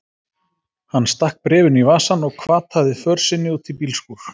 Hann stakk bréfinu í vasann og hvataði för sinni út í bílskúr.